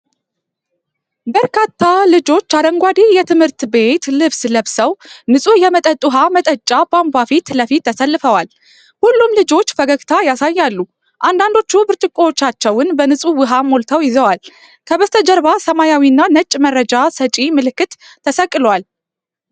በርካታ ልጆች አረንጓዴ የትምህርት ቤት ልብስ ለብሰው ንጹህ የመጠጥ ውሃ መጠጫ ቧንቧ ፊት ለፊት ተሰልፈዋል። ሁሉም ልጆች ፈገግታ ያሳያሉ፤ አንዳንዶቹ ብርጭቆዎቻቸውን በንጹህ ውሃ ሞልተው ይዘዋል። ከበስተጀርባ ሰማያዊና ነጭ መረጃ ሰጪ ምልክት ተሰቅሏል።